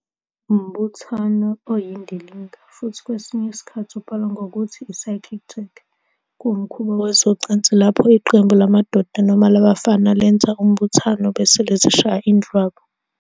Umbuthano oyindilinga, futhi kwesinye isikhathi ubhalwa ngokuthi i-circlejerk, kuwumkhuba wezocansi lapho iqembu lamadoda noma labafana lenza umbuthano bese lizishaya indlwabu.